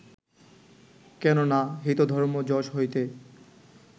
কেন না, হিত, ধর্ম, যশ হইতে